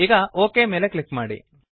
ಈಗ ಒಕ್ ಮೇಲೆ ಕ್ಲಿಕ್ ಮಾಡಿ